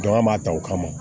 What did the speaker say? Bagan b'a ta o kama